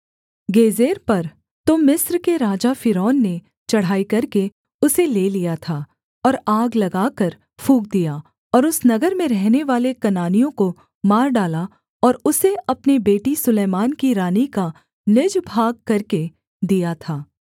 गेजेर पर तो मिस्र के राजा फ़िरौन ने चढ़ाई करके उसे ले लिया था और आग लगाकर फूँक दिया और उस नगर में रहनेवाले कनानियों को मार डाला और उसे अपनी बेटी सुलैमान की रानी का निज भाग करके दिया था